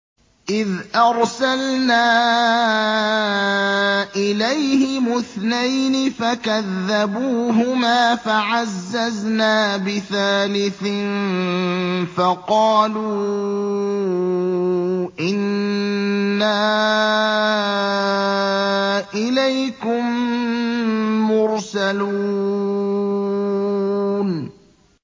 إِذْ أَرْسَلْنَا إِلَيْهِمُ اثْنَيْنِ فَكَذَّبُوهُمَا فَعَزَّزْنَا بِثَالِثٍ فَقَالُوا إِنَّا إِلَيْكُم مُّرْسَلُونَ